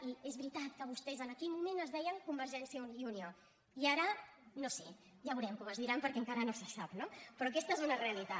i és veritat que vostès en aquell moment es deien convergència i unió i ara no ho sé ja ho veurem com es diran perquè encara no se sap no però aquesta és una realitat